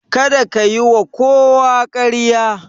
Kada ka yiwa kowa ƙarya.